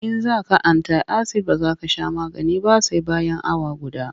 In za ka anti-asid ba za ka sha magani ba sai bayan awa guda.